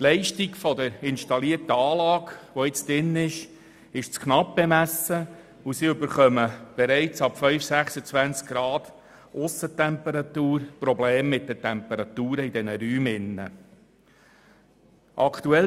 Die Leistung der derzeit installierten Anlage ist zu knapp bemessen, sodass es bereits ab einer Aussentemperatur von 25 bis 26 Grad Celsius mit den Temperaturen in den Räumen problematisch wird.